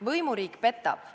Võimuriik petab.